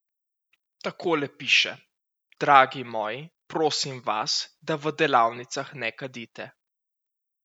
Takole piše: 'Dragi moji, prosim vas, da v delavnicah ne kadite.